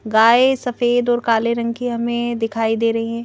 गाय सफेद और काले रंग की हमें दिखाई दे रही हैं।